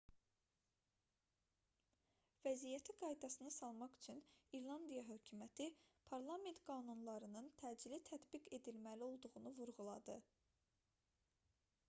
vəziyyəti qaydasına salmaq üçün i̇rlandiya hökuməti parlament qanunlarının təcili tətbiq edilməli olduğunu vurğuladı